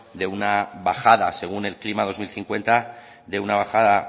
de una bajada según el clima dos mil cincuenta de una bajada